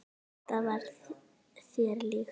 Þetta var þér líkt.